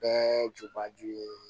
Bɛɛ jubaju ye